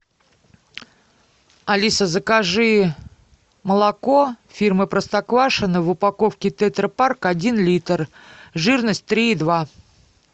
алиса закажи молоко фирмы простоквашино в упаковке тетрапарк один литр жирность три и два